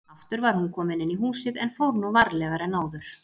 Aftur var hún komin inn í húsið en fór nú varlegar en áður.